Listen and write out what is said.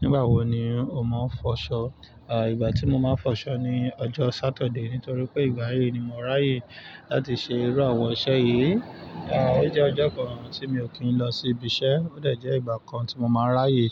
Nígbà wo ni o máa ń fọṣọ? Àí, ìgbà tí mo máa ń fọṣọ ni ọjọ́ Saturday nítorí pé ìgbà yí ni mo ráyè láti ṣe irú àwọn iṣẹ́ yìí. Àí, ó jẹ́ ọjọ́ kan tí mi ò kín lọ sí ibiṣẹ́, ó dẹ̀ jẹ ìgbà kan tí mo máa ń ráyè